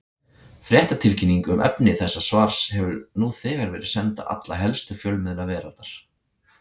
Fréttatilkynning um efni þessa svars hefur nú þegar verið send á alla helstu fjölmiðla veraldar.